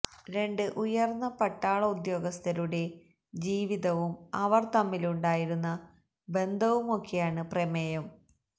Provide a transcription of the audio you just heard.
രണ്ട് ഉയർന്ന പട്ടാള ഉദ്യോഗസ്ഥരുടെ ജീവിതവും അവർ തമ്മിലുണ്ടായിരുന്ന ബന്ധവുമൊക്കെയാണ് പ്രമേയം